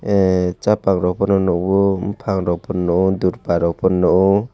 ahhh chapa rogfano nuo bufang rokfano nuo durparok fano nuo.